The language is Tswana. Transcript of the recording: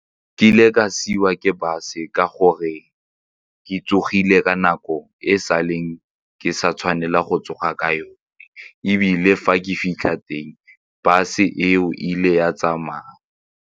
Ke ile ka siuwa ke bus-w ka gore ke tsogile ka nako e e sa leng ke sa tshwanela go tsoga ka yone ebile fa ke fitlha teng bus-e eo e ile ya tsamaya.